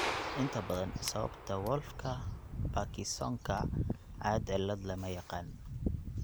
Inta badan, sababta Wolffka Parkinsonka caad cilaad lama yaqaan.